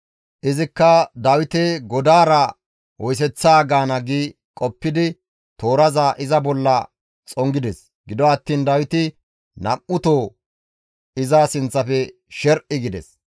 Izikka, «Dawite godaara oyseththaa gaana» gi qoppidi tooraza iza bolla xongides; gido attiin Dawiti nam7uto iza sinththafe sher7i gides.